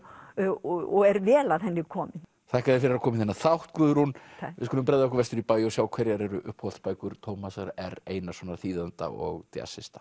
og er vel að henni komin þakka þér fyrir að koma í þennan þátt Guðrún takk við skulum bregða okkur vestur í bæ og sjá hverjar eru uppáhaldsbækur Tómasar r Einarssonar þýðanda og